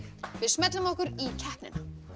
við smellum okkur í keppnina